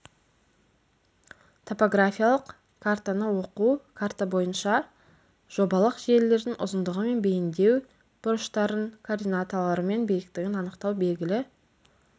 топографиялық картаны оқу карта бойынша жобалық желілердің ұзындығы мен бейіндеу бұрыштарын координаталары мен биіктігін анықтау белгілі